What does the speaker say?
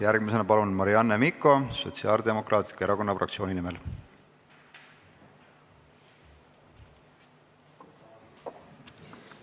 Järgmisena palun Marianne Mikko Sotsiaaldemokraatliku Erakonna fraktsiooni nimel!